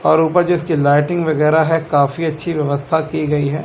और ऊपर जो इसकी लाइटिंग वगैरह है काफी अच्छी व्यवस्था की गई है।